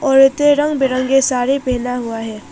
औरतें रंग बिरंगा साड़ी पहने हुआ है।